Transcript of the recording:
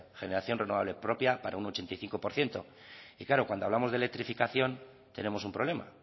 generación renovable propia para un ochenta y cinco por ciento y claro cuando hablamos de electrificación tenemos un problema